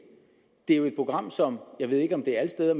det er jo et program som jeg ved ikke om det er alle steder